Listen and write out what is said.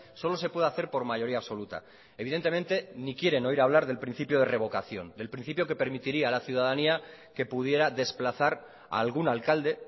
solo se puede hacer por mayoría absoluta evidentemente ni quieren oír hablar del principio de revocación del principio que permitiría a la ciudadanía que pudiera desplazar a algún alcalde